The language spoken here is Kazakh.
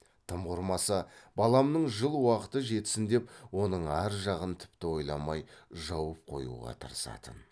тым құрмаса баламның жыл уақыты жетсін деп оның ар жағын тіпті ойламай жауып қоюға тырысатын